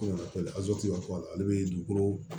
ale bɛ dugukolo